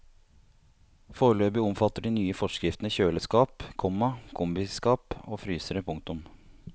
Foreløpig omfatter de nye forskriftene kjøleskap, komma kombiskap og frysere. punktum